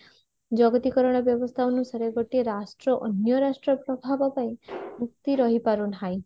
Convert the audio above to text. ଜଗତୀକରଣ ବ୍ୟବସ୍ଥା ଅନୁସାରେ ଗୋଟିଏ ରାଷ୍ଟ୍ର ଅନ୍ୟ ରାଷ୍ଟ୍ର ପ୍ରଭାବ ପାଇଁ ରହିପାରୁ ନାହିଁ